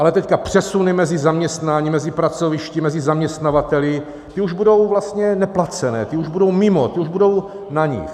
Ale teď přesuny mezi zaměstnáními, mezi pracovišti, mezi zaměstnavateli, ty už budou vlastně neplacené, ty už budou mimo, ty už budou na nich.